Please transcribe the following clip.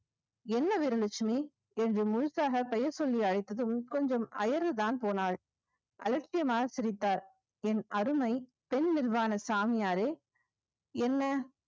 என்ன வீரலட்சுமி என்று முழுசாக பெயர் சொல்லி அழைத்ததும் கொஞ்சம் அயருதான் போனாள் அலட்சியமாக சிரித்தார் என் அருமை பெண் நிர்வாண சாமியாரே என்ன